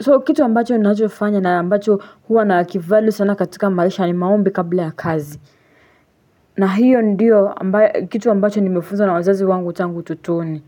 so kitu ambacho unachofanya na ambacho huwa naki-value sana katika maisha ni maombi kabla ya kazi na hiyo ndiyo kitu ambacho nimefunza na wazazi wangu tangu utotoni.